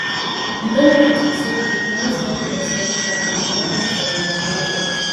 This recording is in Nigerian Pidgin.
di benefit be say e dey promote learning exploration and development of imagination